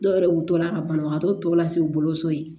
Dɔw yɛrɛ wilila ka banabagatɔ tɔw lase u bolo so ye